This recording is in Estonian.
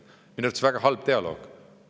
Minu arvates oli see väga halb dialoog.